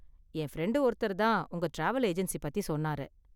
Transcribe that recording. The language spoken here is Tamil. என் ஃப்ரெண்டு ஒருத்தர் தான் உங்க டிராவல் ஏஜென்சி பத்தி சொன்னாரு.